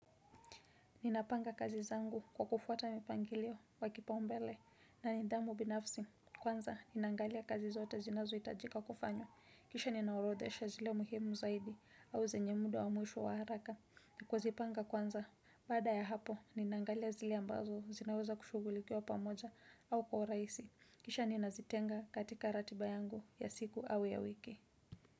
Ninapanga kazi zangu kwa kufuata mipangilio wa kipaumbele na nidhamu binafsi. Kwanza, ninaangalia kazi zote zinazohitajika kufanywa. Kisha ninaorodhesha zile muhimu zaidi au zenye mdu wa mwisho wa haraka. Kuzipanga kwanza, baada ya hapo, ninaangalia zile ambazo zinaweza kushugulikiwa pamoja au kwa uraisi. Kisha ninazitenga katika ratiba yangu ya siku au ya wiki.